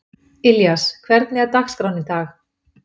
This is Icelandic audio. Ilías, hvernig er dagskráin í dag?